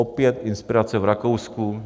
Opět inspirace v Rakousku.